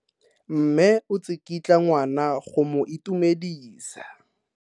Mme o tsikitla ngwana go mo itumedisa.